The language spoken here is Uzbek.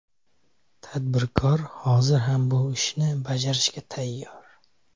Tadbirkor hozir ham bu ishni bajarishga tayyor.